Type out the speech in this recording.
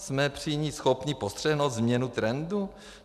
Jsme při ní schopni postřehnout změnu trendu?